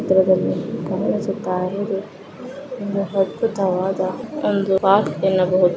ಚಿತ್ರದಲ್ಲಿಕಾಣಿಸುತ್ತಾ ಇರೋದು ಒಂದು ಅದ್ಭುತವಾದ ಒಂದು ಪಾರ್ಕ್ ಎನ್ನಬಹುದು.